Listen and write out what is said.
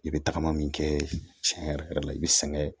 I bɛ tagama min kɛ cɛn yɛrɛ yɛrɛ la i bɛ sɛgɛn